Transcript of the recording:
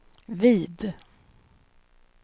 vid